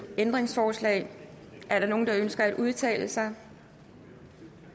ændringsforslag er der nogen der ønsker at udtale sig